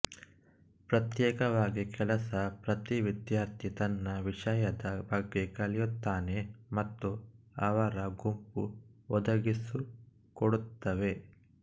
ಪ್ರತ್ಯೇಕವಾಗಿ ಕೆಲಸ ಪ್ರತಿ ವಿದ್ಯಾರ್ಥಿ ತನ್ನ ವಿಷಯದ ಬಗ್ಗೆ ಕಲಿಯುತ್ತಾನೆ ಮತ್ತು ಅವರ ಗುಂಪು ಒದಗಿಸಿಕೊಡುತ್ತವೆ